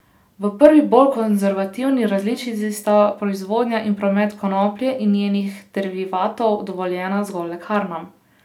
V prvi, bolj konservativni različici, sta proizvodnja in promet konoplje in njenih derivatov dovoljena zgolj lekarnam.